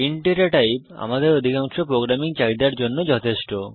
int data type আমাদের অধিকাংশ programming চাহিদার জন্য যথেষ্ট